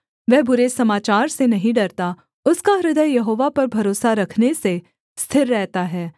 वह बुरे समाचार से नहीं डरता उसका हृदय यहोवा पर भरोसा रखने से स्थिर रहता है